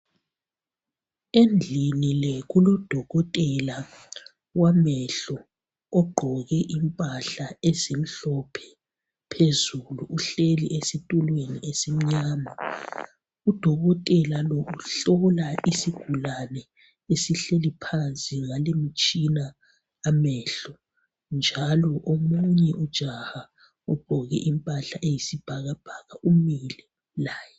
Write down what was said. Endlini le kulodokotela wamehlo ogqoke impahla ezimhlophe phezulu uhleli esitulweni esimnyama uDokotela lo uhlola isigulane esihleli phansi ngalimtshina amehlo njalo omunye ujaha ogqoke impahla eyisibhakabhaka umile laye